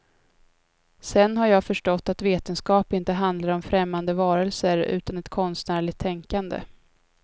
Sen har jag förstått att vetenskap inte handlar om främmande varelser utan ett konstnärligt tänkande.